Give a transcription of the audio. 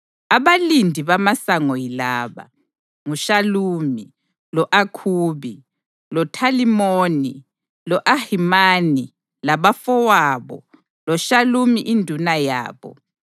Abalindi bamasango yilaba: nguShalumi, lo-Akhubi, loThalimoni, lo-Ahimani labafowabo loShalumi induna yabo,